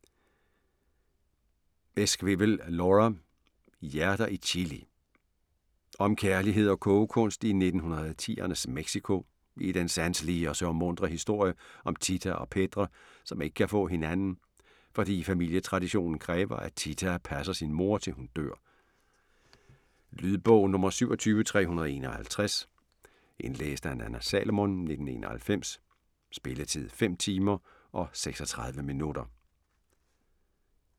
Esquivel, Laura: Hjerter i chili Om kærlighed og kogekunst i 1910'ernes Mexico i den sanselige og sørgmuntre historie om Tita og Pedre, som ikke kan få hinanden, fordi familietraditionen kræver, at Tita passer sin mor, til hun dør. Lydbog 27351 Indlæst af Nanna Salomon, 1991. Spilletid: 5 timer, 36 minutter.